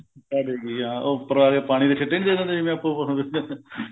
ਛਿੱਟਾ ਦੇ ਗਈ ਹਾਂ ਉਹ ਉੱਪਰ ਆ ਕੇ ਪਾਣੀ ਦੇ ਛਿੱਟੇ ਨੀ ਦੇ ਦਿੰਦੇ ਜਿਵੇਂ ਆਪਾਂ